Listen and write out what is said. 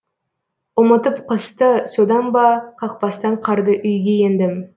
ұмытып қысты содан ба қақпастан қарды үйге ендім